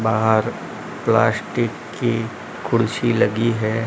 बाहर प्लास्टिक की कुर्सी लगी है।